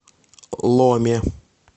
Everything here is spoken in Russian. ломе